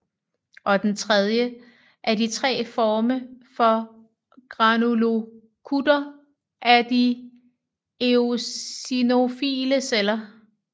Og den tredje af de tre former for granulocytter er de eosinofile celler